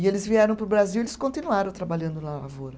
E eles vieram para o Brasil e eles continuaram trabalhando na lavoura.